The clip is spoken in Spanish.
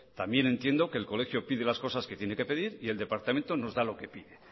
también entiendo que el colegio pide las cosas que tiene que pedir y el departamento nos da lo que pide